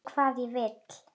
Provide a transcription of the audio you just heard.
Veist hvað ég vil.